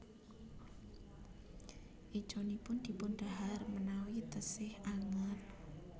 Écanipun dipun dahar menawi teksih anget